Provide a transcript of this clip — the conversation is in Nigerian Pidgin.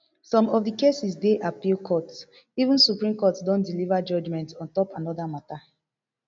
some of the cases dey appeal court even supreme court don deliver judgement on top anoda mata